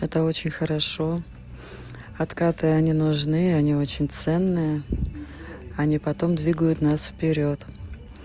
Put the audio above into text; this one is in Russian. это очень хорошо откаты они нужны они очень ценные они потом двигают нас вперёд